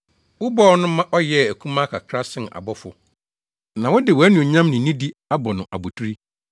Wobɔɔ no ma ɔyɛɛ akumaa kakra sen abɔfo; na wode wʼanuonyam ne nidi abɔ no abotiri,